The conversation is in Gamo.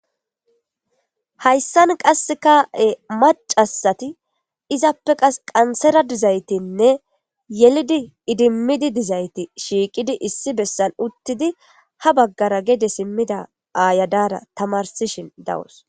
Hayssan qass ka'e macasati izappe qas qansera dizaytinne yelidi idimmidi dizayti shiiqidi issi bessan uttidi ha baggara gede simmida aayadaara tamarsishin dawus.